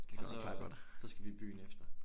Og så øh så skal vi i byen efter